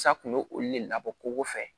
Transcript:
Sa kun y'olu de labɔ ko fɛ